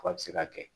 Fɔ a bi se ka kɛ